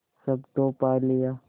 सब तो पा लिया